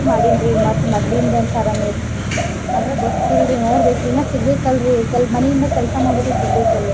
ಮಾಡಿನ್ರಿ ಮತ್ ಮದ್ಲಿನ್ದ್ ಆದ್ರೆ ಗೊತ್ತಿಲ್ರಿ ನೋಡ್ಬೇಕ್ ಇನ್ನ ಸಿಗ್ಬೇಕಲ್ರಿ ಮನಿಯಿಂದ ಕೆಲ್ಸಾ ಮಾಡುದ ಸಿಗ್ಬೇಕಲ್.